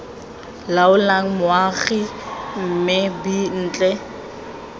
laolang moago mme b ntle